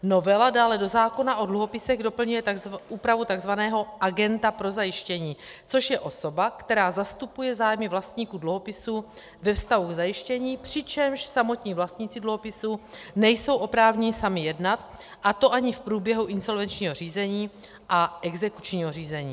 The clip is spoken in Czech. Novela dále do zákona o dluhopisech doplňuje úpravu tzv. agenta pro zajištění, což je osoba, která zastupuje zájmy vlastníků dluhopisů ve vztahu k zajištění, přičemž samotní vlastníci dluhopisů nejsou oprávněni sami jednat, a to ani v průběhu insolvenčního řízení a exekučního řízení.